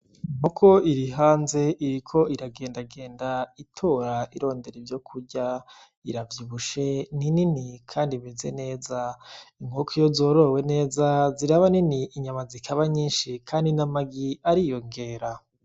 Inkoko irihanze iriko iragenda genda itora irondera ivyokurya, iravyibushe ni nini kandi imeze neza, inkoko iyo zorowe neza ziraba nini, inyama zikaba nyinshi kandi n'amagi ariyongera.